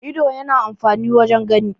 ido yana amfani wajen gani